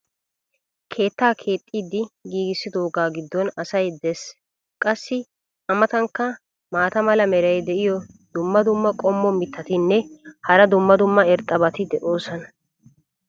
keettaa keexxidi giigissidoogaa giddon asay des. qassi a matankka maata mala meray diyo dumma dumma qommo mitattinne hara dumma dumma irxxabati de'oosona.